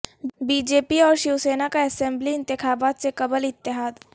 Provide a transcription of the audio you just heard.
B J پی اور شیوسینا کا assembly انتخابات سے قبل اتحاد